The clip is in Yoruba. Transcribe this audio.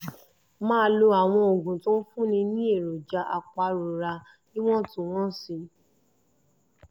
máa lo àwọn oògùn tó ń fúnni ní èròjà apàrora ní ìwọ̀ntúnwọ̀nsì